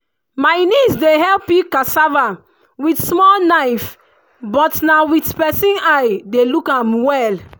my niece dey help peel cassava with small knife but na with person eye dey look am well.